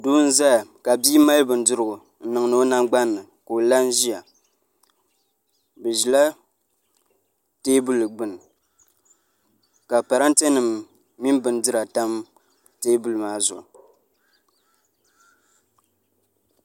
Doo n ʒɛya ka bia mali bindirigu n niŋdi o nangbani ni ka o la n ʒiya bi ʒila teebuli gbuni ka parantɛ nim mini bindira tam teebuli maa zuɣu